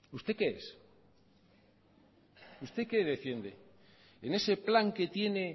usted qué es usted qué defiende en ese plan que tiene